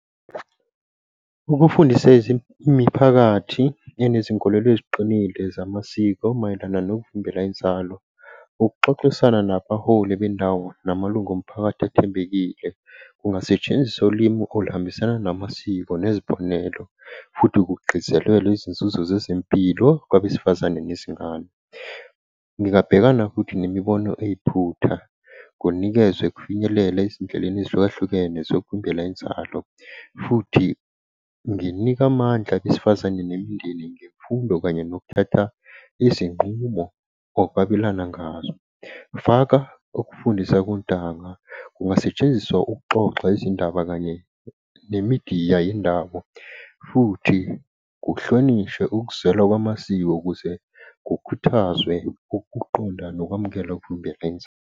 Ukufundisa imiphakathi enezinkolelo eziqinile zamasiko mayelana nokuvimbela inzalo. Ukuxoxisana nabaholi bendawo namalungu omphakathi athembekile. Kungasetshenziswa ulimi oluhambisana namasiko, nezibonelo futhi kugqizelelwe izinzuzo zezempilo, kwabesifazane nezingane. Ngingabhekana futhi nemibono eyiphutha kunikezwe kufinyelela ezinhlelweni ezihlukahlukene zokuvimbela inzalo. Futhi nginike amandla, abesifazane nemindeni ngemfundo kanye nokuthatha izinqumo okwabelana ngazo. Faka ukufundisa kontanga. Kungasetshenziswa ukuxoxa izindaba kanye nemidiya yendawo, futhi kuhlonishwe ukuzwela kwamasiko ukuze kukhuthazwe ukuqonda nokwamukela .